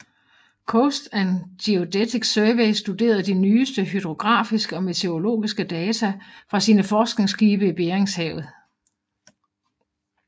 Coast and Geodetic Survey studerede de nyeste hydrografiske og meteorologiske data fra sine forskningsskibe i Beringshavet